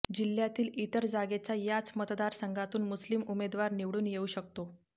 जिह्यातील इतर जागेचा याच मतदारसंघातून मुस्लिम उमेदवार निवडून येऊ शकतो